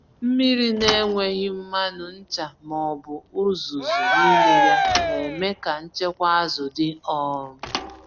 Mmiri na-enweghị mmanụ, ncha, ma ọ bụ uzuzu n'ime ya, na-eme ka nchekwa azụ dị. um